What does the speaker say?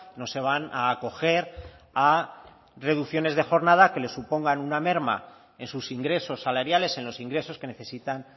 no se van a acoger a reducciones de jornada que les supongan una merma en sus ingresos salariales en los ingresos que necesitan